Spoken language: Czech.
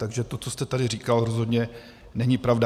Takže to, co jste tady říkal, rozhodně není pravda.